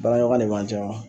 Baaraɲɔgɔnya de b'an cɛ wa